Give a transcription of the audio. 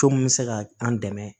Co mun be se ka an dɛmɛ